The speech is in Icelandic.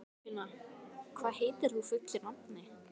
Geirfinna, hvað heitir þú fullu nafni?